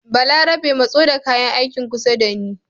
Balarabe matso da kayan aikin kusa da ni